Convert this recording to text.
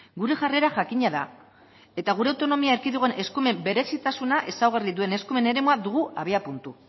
gure jarrera jakina da eta gure autonomia erkidegoan eskumen berezitasuna ezaugarri duen eskumen eremua dugu abiapuntu